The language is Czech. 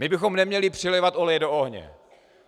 My bychom neměli přilévat oleje do ohně.